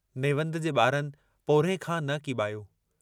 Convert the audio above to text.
नेवंद जे बारनि पोरिह्ये खां न कीबायो।